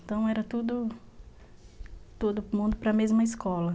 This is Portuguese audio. Então, era todo todo mundo para a mesma escola.